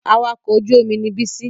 Awakọ̀ ojú-omi ni Bísí